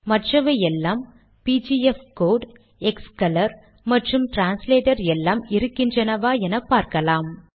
மற்றவை எல்லாம் பிஜிஎஃப்கோடு க்ஸ்கோலர் மற்றும் டிரான்ஸ்லேட்டர் எல்லாம் இருக்கின்றனவா என பார்க்கலாம்